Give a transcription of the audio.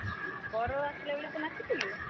ବର ଆସିଲାବେଳେ ତୁ ନାଚିଥିଲୁ?